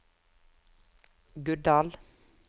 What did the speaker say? Guddal